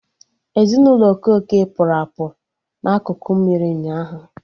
Ezinụlọ Okeke pụrụ apụ na akụkụ mmiri ụnyaahụ